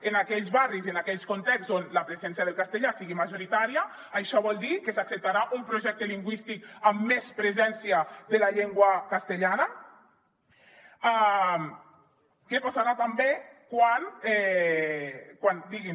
en aquells barris i en aquells contextos on la presència del castellà sigui majoritària això vol dir que s’acceptarà un projecte lingüístic amb més presència de la llengua castellana què passarà també quan diguin